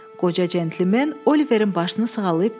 Qoca centlmen Oliverin başını sığallayıb dedi: